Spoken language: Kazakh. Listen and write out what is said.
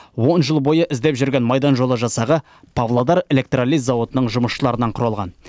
он жыл бойы іздеп жүрген майдан жолы жасағы павлодар электролиз зауытының жұмысшыларынан құралған